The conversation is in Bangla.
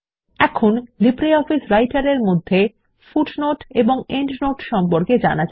এখন জানা যাক কিভাবে নথিতে পাদটীকা এবং প্রান্তটীকা যোগ করা যায়